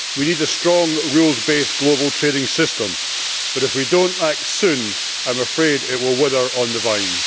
We need a strong rules based global trading system, but if we don't act soon I'm afraid it will wither on the vine.